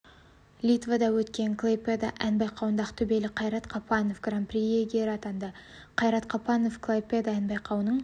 литвада өткен клайпеда ән байқауында ақтөбелік қайрат қапанов гран-при иегері атанды қайрат қапанов клайпеда ән байқауының